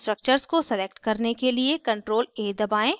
structures को select करने के लिए ctrl + a दबाएं